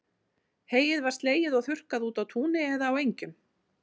Heyið var slegið og þurrkað úti á túni eða á engjum.